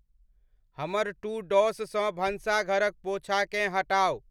हमर to dos सॅ भंसाघरक पोंछाकें हटाउ ।